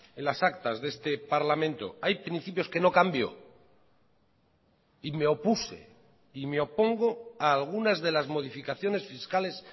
en las actas de este parlamento hay principios que no cambio y me opuse y me opongo a algunas de las modificaciones fiscales